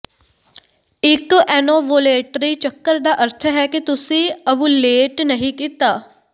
ਇਕ ਐਨੋਵੁਲੇਟਰੀ ਚੱਕਰ ਦਾ ਅਰਥ ਹੈ ਕਿ ਤੁਸੀਂ ਓਵੂਲੇਟ ਨਹੀਂ ਕੀਤਾ